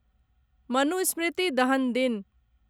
मनुस्मृति दहन दिन